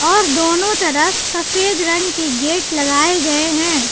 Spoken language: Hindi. और दोनों तरफ सफेद रंग के गेट लगाए गए हैं।